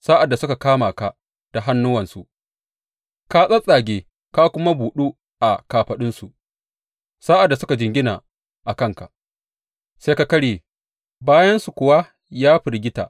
Sa’ad da suka kama ka da hannuwansu, ka tsattsage, ka kuma buɗu a kafaɗunsu; sa’ad da suka jingina a kanka, sai ka karye, bayansu kuwa ya firgita.